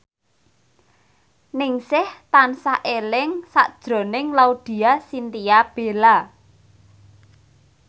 Ningsih tansah eling sakjroning Laudya Chintya Bella